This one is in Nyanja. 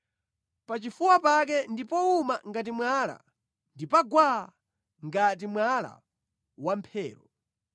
Pachifuwa pake ndi powuma ngati mwala, ndi pa gwaa, ngati mwala wamphero.